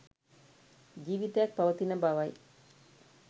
ජීවිතයක් පවතින බවයි